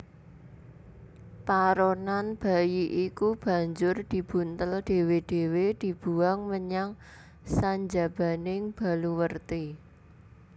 Paronan bayi iku banjur dibuntel dhéwé dhéwé dibuwang menyang sanjabaning baluwerti